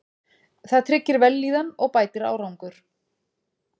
Það tryggir vellíðan og bætir árangur.